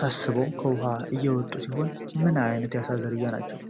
ታስበው ከውሃው እየተወጡ ሲሆን፣ ምን ዓይነት ዝርያ ሊሆኑ ይችላሉ?